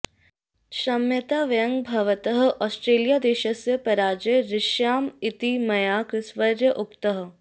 क्षम्यतां वयं भवतः ओस्ट्रेलियादेशस्य पराजये हृष्यामः इति मया क्रिसवर्यः उक्तः